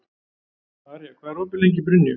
Arja, hvað er opið lengi í Brynju?